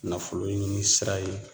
Nafolo ɲini sira ye